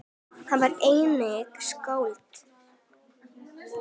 Hann var einnig skáld.